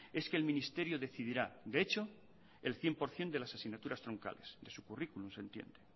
es que el ministerio decidirá de hecho el cien por ciento de las asignaturas troncales de su currículum se entiende